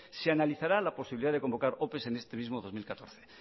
se analizará la posibilidad de convocar ope en este mismo dos mil catorce